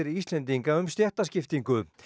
Íslendinga um stéttaskiptingu